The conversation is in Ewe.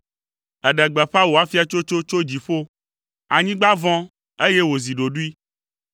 Èɖe gbeƒã wò afiatsotso tso dziƒo, anyigba vɔ̃, eye wòzi ɖoɖoe.